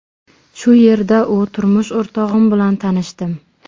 Shu yerda u turmush o‘rtog‘im bilan tanishdim.